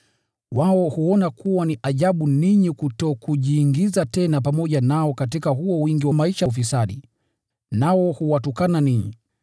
Wao hushangaa kwamba ninyi hamjiingizi pamoja nao katika huo wingi wa maisha ya ufisadi, nao huwatukana ninyi.